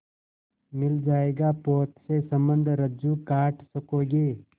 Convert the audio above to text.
मिल जाएगा पोत से संबद्ध रज्जु काट सकोगे